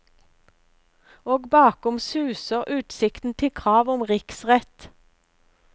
Og bakom suser utsiktene til krav om riksrett.